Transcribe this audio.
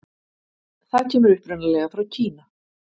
Það kemur upprunalega frá Kína.